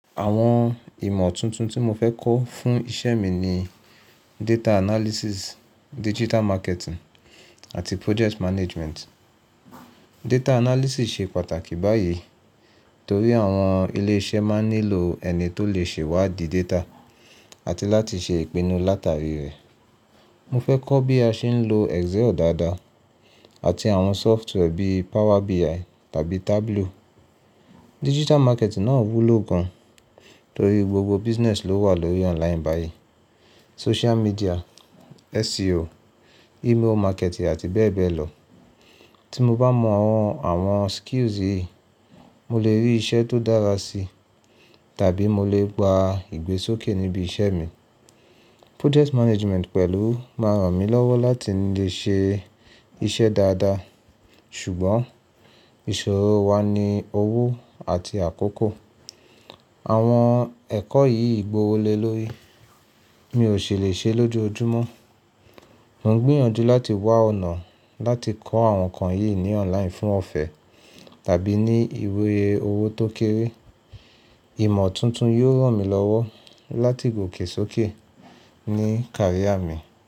Àwọn ìmọ̀ tuntun tí mo fẹ́ kọ́ fún iṣẹ́ mi ni data analysis, digital marketing àti project management. Data analysis ṣe pàtàkì báyìí torí àwọn ilé iṣẹ́ máa ń nílò ẹni tó lè ṣèwádi data àti láti ṣe ìpinnu látàrí rẹ̀. Mo fẹ́ kọ́ bí a ṣe ń lo Excel dáadáa àti àwọn software bíi Power BI tàbí Tableau. Digital marketing náà wúlò gan torí gbogbo business ló wà lórí online báyìí. Social media, SEO, email marketing àti bẹ́ẹ̀ bẹ́ẹ̀ lọ. Tí mo bá mọ àwọn, àwọn skills yìí, mo lè rí iṣẹ́ tó dára sí tàbí mo lè gba ìgbésókè níbí iṣẹ́ mi. Project management pẹ̀lú máa ràn mí lọ́wọ́ láti lè ṣe iṣẹ́ dáadáa. Ṣùgbọ́n ìṣòro wa ni owó àti àkókò. Àwọn ẹ̀kọ́ yìí gbówó lé lórí, mi ò ṣèlè ṣe lójú ojúmọ́. Mo ń gbìyànjú láti wá ọ̀nà láti kọ́ àwọn nǹkan yìí ní online fún ọ̀fẹ́ tàbí ní ìyé owó tó kéré. Ìmọ̀ tuntun yóò ràn mí lọ́wọ́ láti gòkè sókè ní karia mi.